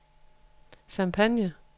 Champagne